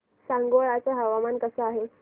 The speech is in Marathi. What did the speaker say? सांगोळा चं हवामान कसं आहे